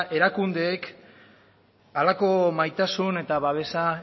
erakundeek horrelako maitasun eta babesa